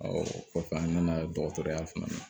o kɔfɛ an nana dɔgɔtɔrɔya fana na